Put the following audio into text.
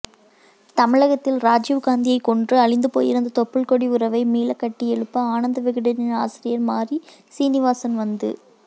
தமிழகத்தில் ராஜீவ் காந்தியை கொன்று அழிந்துபோயிருந்த தொப்புள் கொடி உறவை மீளக்கட்டியெழுப்ப ஆனந்த விகடனின் ஆசிரியர் மாறி சீனிவாசன் வந்து